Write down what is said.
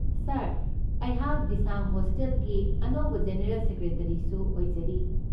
ꯁꯥꯔ, ꯑꯩꯍꯥꯛ ꯗꯤꯁꯥꯡ ꯍꯣꯁꯇꯦꯜꯒꯤ ꯑꯅꯧꯕ ꯖꯦꯅꯔꯦꯜ ꯁꯦꯀ꯭ꯔꯦꯇꯔꯤꯁꯨ ꯑꯣꯏꯖꯔꯤ꯫